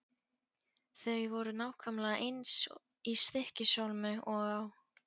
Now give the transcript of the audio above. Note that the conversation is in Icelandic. Þau voru nákvæmlega eins í Stykkishólmi og á